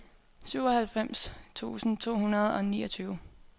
syvoghalvfems tusind to hundrede og niogtyve